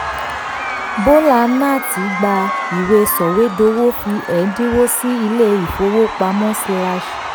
bólà náàtì gba ìwé sọ̀wédowó fi ẹ̀ńdínwó sí ilé ìfowópamọ́ slash